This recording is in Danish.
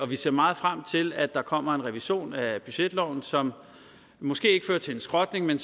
vi ser meget frem til at der kommer en revision af budgetloven som måske ikke fører til en skrotning men